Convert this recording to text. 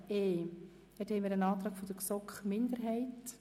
e. Dort haben wir einen Antrag der GSoK-Minderheit.